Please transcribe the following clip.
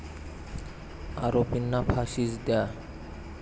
आरोपींना फाशीच द्या!